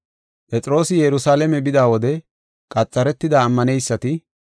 Phexroosi Yerusalaame bida wode qaxaretida ammaneysati,